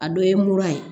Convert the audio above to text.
A dɔ ye mura ye